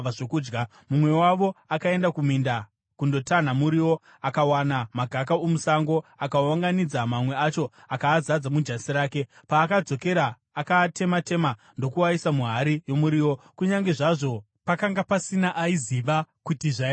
Mumwe wavo akaenda kuminda kundotanha muriwo akawana magaka omusango. Akaunganidza mamwe acho akaazadza mujasi rake. Paakadzokera, akaatema-tema ndokuaisa muhari yomuriwo, kunyange zvazvo pakanga pasina aiziva kuti zvaiva zvii.